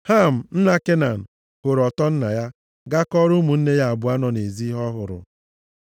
Ham, nna Kenan, hụrụ ọtọ nna ya, gaa kọọrọ ụmụnne ya abụọ nọ nʼezi ihe ọ hụrụ.